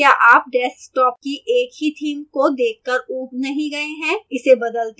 क्या आप desktop की एक ही theme को देख कर ऊब नहीं गए हैं इसे बदलते हैं